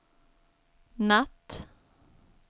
natt